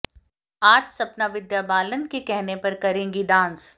आज सपना विद्या बालन के कहने पर करेंग्री डांस